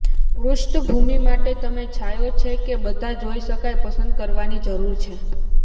પૃષ્ઠભૂમિ માટે તમે છાંયો છે કે બધા જોઈ શકાય પસંદ કરવાની જરૂર છે